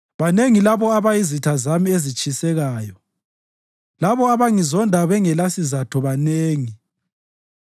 Banengi labo abayizitha zami ezitshisekayo, labo abangizonda bengelasizatho banengi.